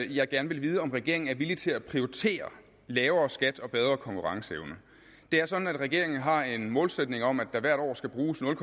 jeg gerne vil vide om regeringen er villig til at prioritere lavere skat og bedre konkurrenceevne det er sådan at regeringen har en målsætning om at der hvert år skal bruges nul